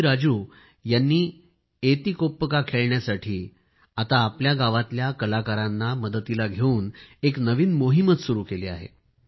V Raju यांनी एतिकोप्पका खेळण्यासाठी आता आपल्या गावातल्या कलाकारांना मदतीला घेवून एक नवीन मोहीमच सुरू केली आहे